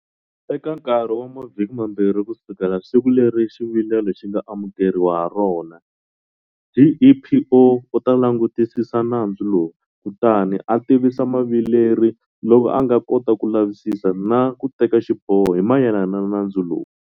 Eka nkarhi wa mavhiki mambirhi kusukela siku leri xivilelo xi nga amukeriwa harona, GEPO u ta langutisisa, nandzu lowu, kutani a tivisa muvileri loko a nga kota ku lavisisa na kuteka xiboho hi mayelana na nandzu lowu.